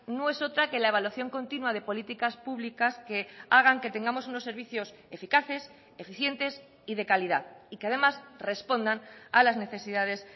no es otra que la evaluación continua de políticas públicas que hagan que tengamos unos servicios eficaces eficientes y de calidad y que además respondan a las necesidades